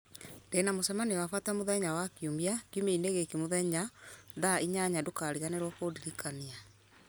ndĩna mũcemanio wa bata mũthenya wa kiumia kiumia-inĩ gĩkĩ mũthenya thaa inyanya ndũkariganĩrwo kũndirikania